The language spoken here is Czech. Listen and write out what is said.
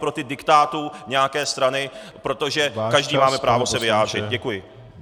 Proti diktátu nějaké strany, protože každý máme právo se vyjádřit. Děkuji.